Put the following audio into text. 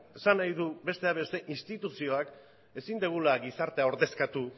esan nahi dut bestea beste instituzioak ezin dugula gizartea ordezkatu